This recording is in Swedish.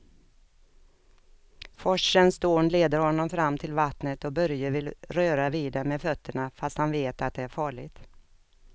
Forsens dån leder honom fram till vattnet och Börje vill röra vid det med fötterna, fast han vet att det är farligt.